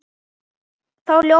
Þá ljómaði hún.